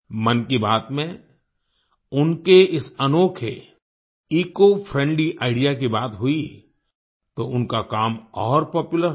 मन की बात में उनके इस अनोखे इकोफ्रेंडली आईडीईए की बात हुई तो उनका काम और पॉपुलर हो गया